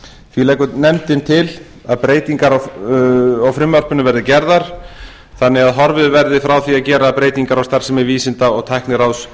því leggur nefndin til breytingar á frumvarpinu verði gerðar þannig að horfið verði frá því að gera breytingar á starfsemi vísinda og tækniráðs